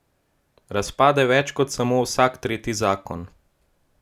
Razpade več kot samo vsak tretji zakon.